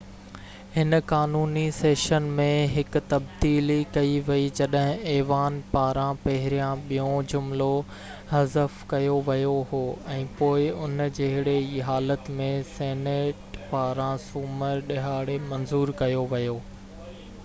هن قانوني سيشن ۾ هڪ تبديلي ڪئي وئي جڏهن ايوان پاران پهريان ٻيون جملو حذف ڪيو ويو هو ۽ پوءِ ان جهڙي ئي حالت ۾ سينيٽ پاران سومر ڏهاڙي منظور ڪيو ويو